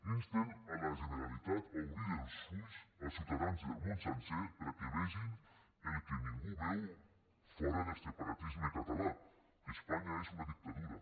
insten la generalitat a obrir bé els ulls als ciutadans del món sencer perquè vegin el que ningú veu fora del separatisme català que espanya és una dictadura